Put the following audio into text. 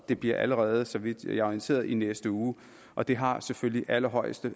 det bliver allerede så vidt jeg er orienteret i næste uge og det har selvfølgelig allerhøjeste